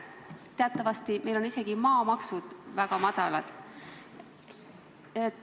Teatavasti on meil ka maamaksud väga madalad.